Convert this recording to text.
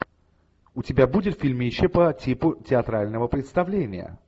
у тебя будет фильмище по типу театрального представления